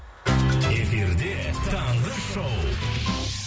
эфирде таңғы шоу